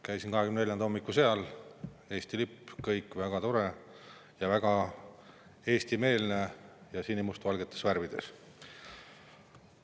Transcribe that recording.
Käisin 24‑nda hommikul seal: Eesti lipp, kõik väga tore, väga eestimeelne ja sinimustvalgetes värvides.